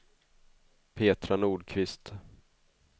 Petra Nordqvist